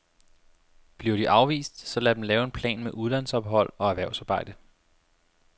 Bliver de afvist, så lad dem lave en plan med udlandsophold og erhvervsarbejde.